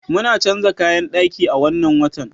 Muna canza kayan daki a wannan watan.